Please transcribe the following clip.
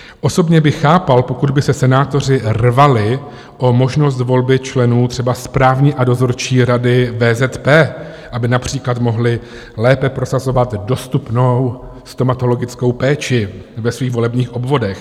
Osobně bych chápal, pokud by se senátoři rvali o možnost volby členů třeba Správní a Dozorčí rady VZP, aby například mohli lépe prosazovat dostupnou stomatologickou péči ve svých volebních obvodech.